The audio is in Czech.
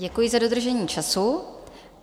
Děkuji za dodržení času.